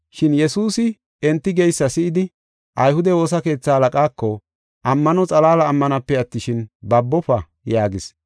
Shin Yesuusi enti geysa si7idi, ayhude woosa keetha halaqaako, “Ammano xalaala ammanape attishin, babofa” yaagis.